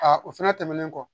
o fɛnɛ tɛmɛnen kɔ